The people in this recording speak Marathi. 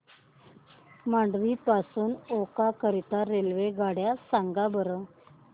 मांडवी पासून ओखा करीता रेल्वेगाड्या सांगा बरं